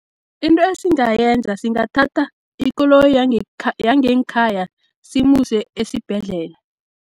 Into esingayenza singathatha ikoloyi yangengkhaya simuse esibhedlela.